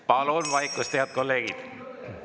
Palun vaikust, head kolleegid!